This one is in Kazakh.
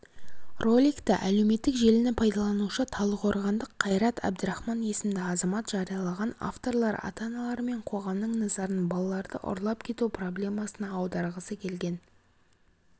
роликті әлеуметтік желіні пайдаланушы талдықорғандық қайрат әбдірахман есімді азамат жариялаған авторлар ата-аналар мен қоғамның назарын балаларды ұрлап кету проблемасына аударғысы келген